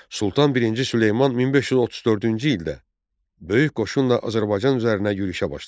Sultan I Süleyman 1534-cü ildə böyük qoşunla Azərbaycan üzərinə yürüşə başladı.